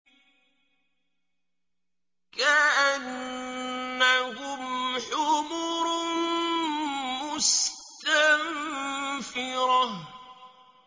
كَأَنَّهُمْ حُمُرٌ مُّسْتَنفِرَةٌ